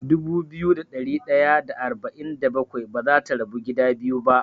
Dubu biyu da ɗari ɗaya da arba'in da bakwai bazata rabu gida biyu ba.